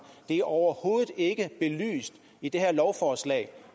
det er overhovedet ikke belyst i det her lovforslag